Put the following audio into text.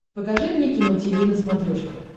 покажи мне кино тиви на смотрешке